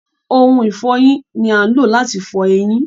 Ohun ìfọyín ni à ń lò láti fọ eyin.